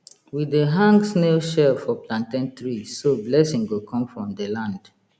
we dey hang snail shell for plantain tree so blessing go come from the land